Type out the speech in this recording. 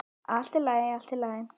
Allt í lagi, allt í lagi.